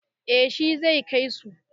Eh shi zai kai su.